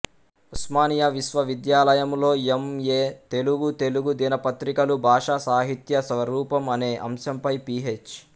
ఉస్మానియా విశ్వవిద్యాలయములో M A Telugu Telugu దినపత్రికలు బాషా సాహిత్య స్వరూపం అనే అంశంపై పీహెచ్